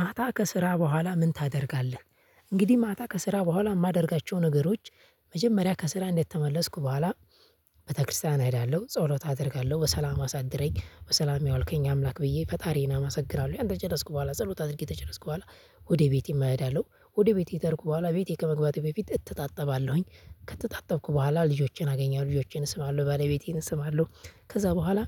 ማታ ከስራ በኋላ ምን ታደርጋለህ? እንግዲህ ማታ ከስራ በኋላ የማደርጋቸው ነገሮች መጀመሪያ ከስራ እንደተመለስኩ በኋላ፣ ቤተክርስቲያን እሄዳለሁ ጸሎት አደርጋለሁ፤ በሰላም አሳድረኝ በሰላም ያዋልከኝ አምላክ ብዬ ፈጣሪዬን አመሰግናለሁ። ያን ከጨረስኩ በኋላ ጸሎት አድርጌ ከጨረስኩ በኋላ ወደ ቤቴም እሄዳለሁ። ወደ ቤቴ ከሄድኩ በኋላ ቤቴ ከመግባቴ በፊት እታጠባለሁኝ። ከታጠብኩ በኋላ ልጆቼን አገኛለሁ፣ ልጆቼን እስማለሁ፣ ባለቤቴን እስማለሁ። ከዛ በኋላ